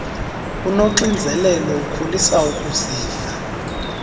unoxinzelelo ukholisa ukuziva